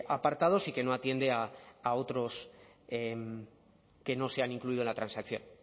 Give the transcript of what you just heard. apartados y que no atiende a otros que no se han incluido en la transacción